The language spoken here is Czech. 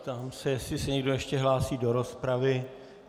Ptám se, jestli se někdo ještě hlásí do rozpravy.